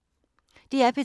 DR P3